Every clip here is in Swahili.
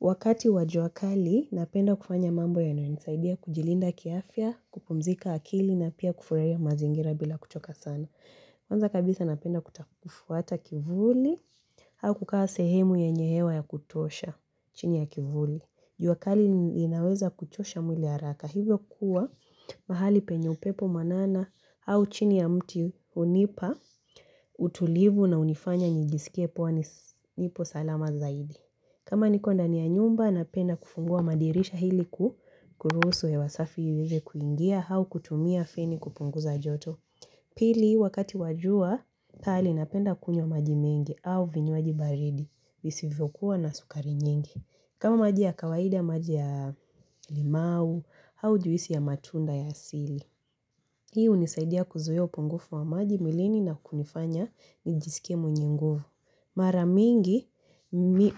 Wakati wa jua kali, napenda kufanya mambo yanayonisaidia kujilinda kiafya, kupumzika akili na pia kufurahia mazingira bila kuchoka sana. Kwanza kabisa napenda kuta kufuata kivuli, au kukaa sehemu yenye hewa ya kutosha chini ya kivuli. Jua kali inaweza kuchosha mwili haraka. Hivyo kuwa mahali penye upepo mwanana, au chini ya mti hunipa, utulivu na hunifanya nijisikie kuwa nipo salama zaidi. Kama niko ndani ya nyumba, napenda kufungua madirishahili kuruhusu hewa safi iweze kuingia, au kutumia feni kupunguza joto. Pili, wakati wa jua, kali napenda kunywa maji mengi au vinywaji baridi, visivyokuwa na sukari nyingi. Kama maji ya kawaida maji ya limau, au juisi ya matunda ya asili. Hi hunisaidia kuzuia upungufu wa maji mwilini na kunifanya nijisike mwenye nguvu. Mara mingi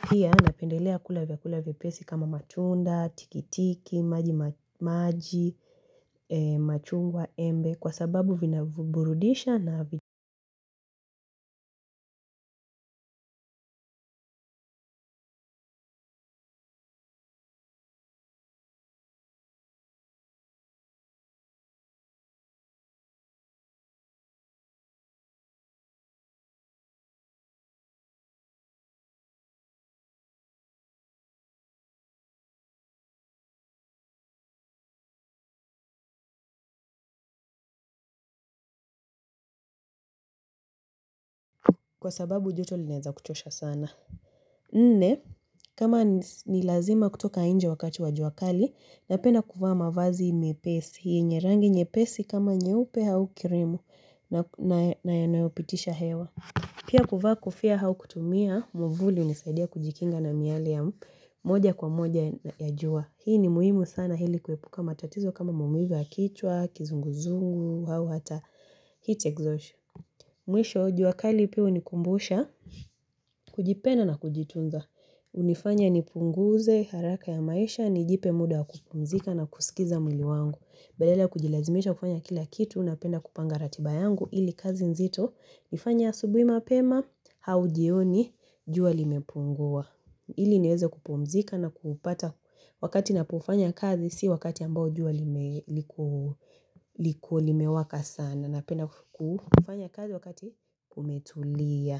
pia napendelea kula vyakula vyepesi kama matunda, tiki tiki, maji maji, machungwa, embe kwa sababu vinaburudisha na vya kwa sababu joto linaeza kuchosha sana. Nne kama ni lazima kutoka nje wakati wa jua kali napenda kufvaa mavazi mepesi yenye rangi nyepesi kama nyeupe au kirimu na yanayopitisha hewa. Pia kuvaa kofia hau kutumia, mwavuli hunisaidia kujikinga na miale ya moja kwa moja ya jua. Hii ni muhimu sana hili kuepuka matatizo kama maumivu ya kichwa kizunguzungu, au hata heat exhaustion. Mwisho, jua kali pia hunikumbusha, kujipenda na kujitunza. Hunifanya ni punguze, haraka ya maisha, nijipe muda kupumzika na kusikiza mwili wangu. Badala kujilazimisha kufanya kila kitu, napenda kupanga ratiba yangu ili kazi nzito. Nifanye asubui mapema au jioni jua limepungua. Ili niweze kupumzika na kupata wakati ninapofanya kazi si wakati ambao jua liko limewaka sana. Napenda kufanya kazi wakati kumetulia.